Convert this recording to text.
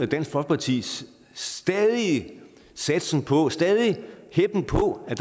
dansk folkepartis stadige satsning på og stadige heppen på at